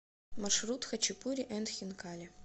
маршрут хачапури энд хинкали